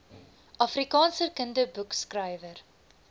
afrikaanse kinderboekskrywer